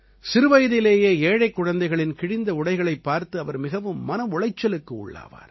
சிறுவயதிலேயே ஏழைக் குழந்தைகளின் கிழிந்த உடைகளைப் பார்த்து இவர் மிகவும் மன உளைச்சலுக்கு உள்ளாவார்